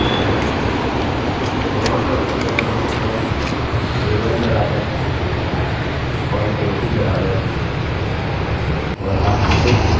मेरा मतलब है कि मैं कह सकता हूँ day 1 equals आप जानते हैं और day 2 equals और आप इसे इसी प्रकार से कर सकते हैं